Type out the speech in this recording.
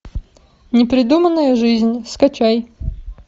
непридуманная жизнь скачай